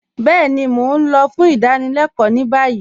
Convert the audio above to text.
Bẹẹni, Mó n lọ̀ fún ìdánílẹ̀kọ ni bayí